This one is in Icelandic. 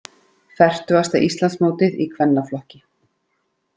Fertugasta Íslandsmótið í kvennaflokki